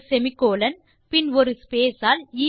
ஒரு செமிகோலன் பின் ஒரு ஸ்பேஸ் ஆல்